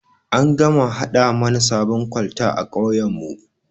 An gama gama haɗa mana sabon kwalta a kauyan mu